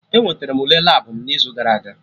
Enweterem m Ule Labụ m n'izu gara aga